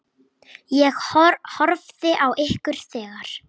Ég horfði á ykkur þegar.